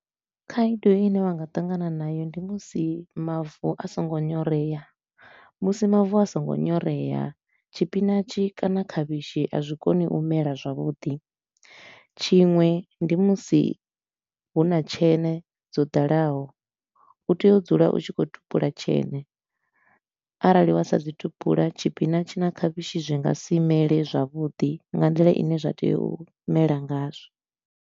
Khaedu i ne vha nga ṱangana nayo ndi musi mavu a so ngo nyorea. Musi mavu a so ngo nyorea, tshipinatshi kana khavhishi a zwi koni u mela zwavhuḓi, tshiṅwe ndi musi hu na tsheṋe dzo ḓalaho, u tea u dzula u tshi khou tupula tsheṋe. Arali wa sa zwi tupula, tshipinatshi na khavhishi zwi nga si mele zwavhuḓi nga nḓila i ne zwa tea u mela ngazwo.